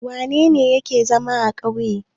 Wane ne yake zama a ƙauye?